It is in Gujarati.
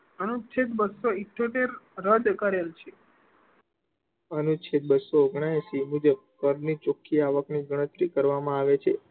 અનુચ્છેદ બસ્સો ઈઠ્યોતેર રદ કરેલ છે. અનુચ્છેદ બસ્સો અગ્નેયેશિ મુજબ કર ની ચોખ્ખી આવક ની ગણતરી કરવા માં છે.